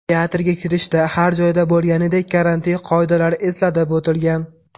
Teatrga kirishda har joyda bo‘lganidek karantin qoidalari eslatib o‘tilgan.